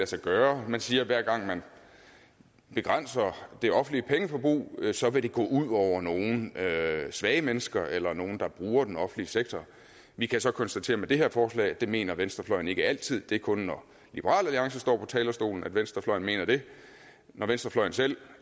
sig gøre man siger at hver gang man begrænser det offentlige pengeforbrug så vil det gå ud over nogle svage mennesker eller nogle der bruger den offentlige sektor vi kan så konstatere med det her forslag at det mener venstrefløjen ikke altid det er kun når liberal alliance står på talerstolen at venstrefløjen mener det når venstrefløjen selv